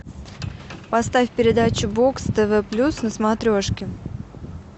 поставь передачу бокс тв плюс на смотрешке